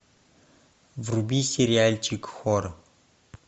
вруби сериальчик хор